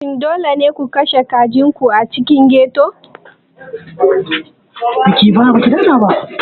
Shin dole ne ku kashe kajin ku a cikin ghetto?